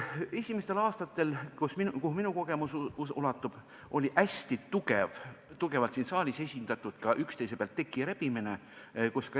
Esimestel aastatel, kuhu minu kogemus ulatub, käis siin saalis hästi tugev üksteise pealt teki rebimine.